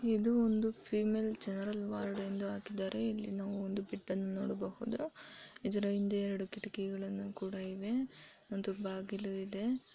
ಇದು ಒಂದು female general ward ಎಂದು ಹಾಕ್ಕಿದ್ದಾರೆ. ಇಲ್ಲಿನು ಒಂದು ಬೆಡ್ ಅನ್ನ ನೋಡಬಹುದು ಇದರ ಹಿಂದೆ ಎರಡು ಕಿಟಕಿ ಗಳ್ಳನ ಕೂಡ ಇವೆ ಒಂದು ಬಾಗಿಲು ಇದೇ.